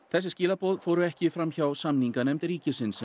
þessi skilaboð fóru ekki fram hjá samninganefnd ríkisins